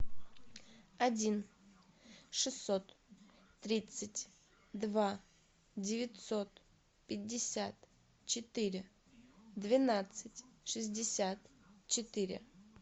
один шестьсот тридцать два девятьсот пятьдесят четыре двенадцать шестьдесят четыре